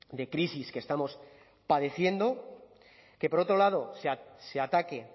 de crisis que estamos padeciendo que por otro lado se ataque